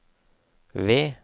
V